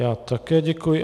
Já také děkuji.